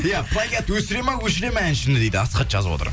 иә плагиат өсіреді ма өшіреді ма әншіні дейді асхат жазып отыр